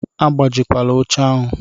Agbajikwala oche ahụ!